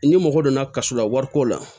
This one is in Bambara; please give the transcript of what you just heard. Ni mɔgɔ donna kaso la wariko la